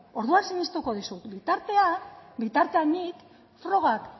orduan sinistuko dizut bitartean nik frogak